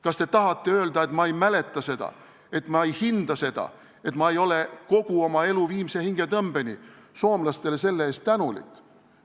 Kas te tahate öelda, et ma ei mäleta seda, et ma ei hinda seda, et ma ei ole kogu oma elu viimse hingetõmbeni soomlastele selle eest tänulik?